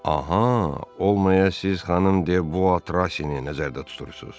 Aha, olmaya siz xanım De Bu Atra Seni nəzərdə tutursunuz?